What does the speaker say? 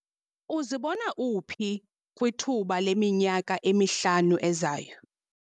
Uzibona uphi kwithuba leminyaka emihlanu ezayo?